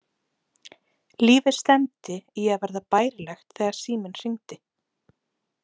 Lífið stefndi í að verða bærilegt þegar síminn hringdi.